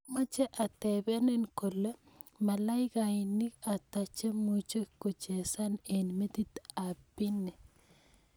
Amoche atebenin kole malaikainik ata chemuche kochesan en metit ap pini